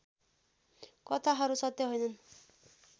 कथाहरू सत्य होइनन्